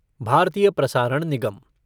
भारतीय प्रसारण निगम